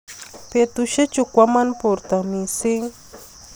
betusiechu kwama borto misiing